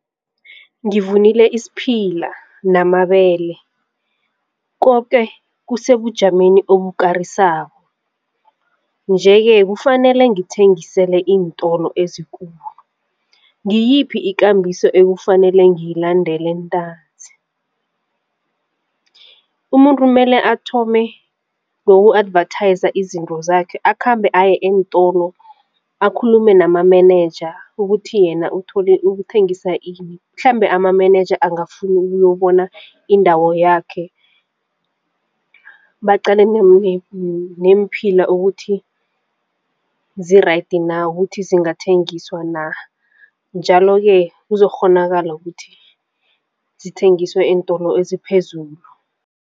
Ngivunile isiphila namabele koke kusebujameni obukarisako njeke kufanele ngithengisele iintolo ezikulu ngiyiphi ikambiso ekufanele ngiyalandele ntanzi? Umuntu mele athome ngoku advertise izinto zakhe akhambe aye eentolo akhulume nama menenja ukuthi yena uthole uthengisa ini, mhlambe amanenenja angafuna ukuyobona indawo yakhe baqale neemphila ukuthi zi-right na ukuthi zingathengiswa na? Njalo ke kuzokukghonakala ukuthi zithengiswe eentolo eziphezulu.